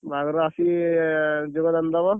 ବାହାଘର କୁ ଆସିକି ଯୋଗ ଦାନ ଦବ।